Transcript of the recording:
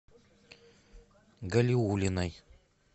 галиуллиной